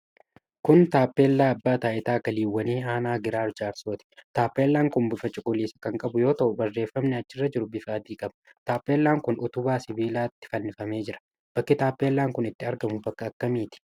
Kun taappellaa Abbaa Taayitaa Galiiwwanii Aanaa Giraar Jaarsooti. Tappellaan kun bifa cuquliisa kan qabu yoo ta'u, barreefamni achirra jiru bifa adii qaba. Taappellaan kun utubaa sibiilatti fannifamee jira. Bakki taappellaan kun itti argamu bakka akkamiiti?